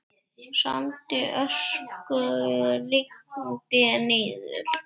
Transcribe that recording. Sandi og ösku rigndi niður.